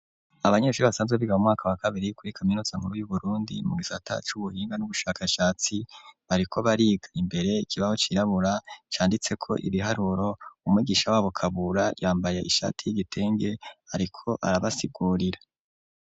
Abanyeshure basanzwe biga mu mwaka wa kabiri kuri kaminuza muruye burundi mu gisata cubuhinga n'ubushakashatsi bariko bariga imbere ikibaho cirabura canditseko ibiharuro umwigisha wabo kabura yambaye ishati y'igitenge ariko arabasigurira.